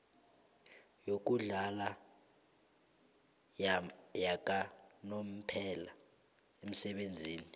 yokuhlala yakanomphela umsebenzi